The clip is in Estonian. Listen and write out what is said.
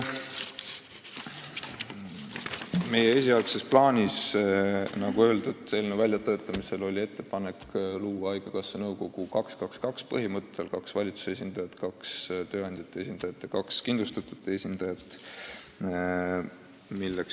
Meie esialgses plaanis, nagu öeldud, eelnõu väljatöötamisel oli ettepanek luua haigekassa nõukogu põhimõttel 2 : 2 : 2, st kaks valitsuse esindajat, kaks tööandjate esindajat ja kaks kindlustatute esindajat.